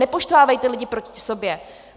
Nepoštvávejte lidi proti sobě!